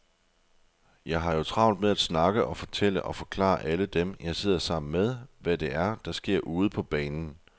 Jeg har jo travlt med at snakke og fortælle og forklare alle dem, jeg sidder sammen med, hvad det er, der sker ude på banen.